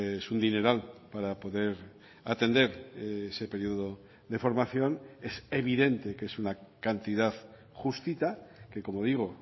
es un dineral para poder atender ese periodo de formación es evidente que es una cantidad justita que como digo